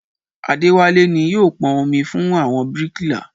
Adéwálé ni yóò pọn omi fún àwọn bíríkìlà